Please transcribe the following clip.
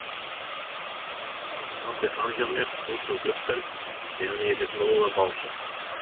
Hann horfði framhjá mér út um gluggann meðan ég lét móðan mása.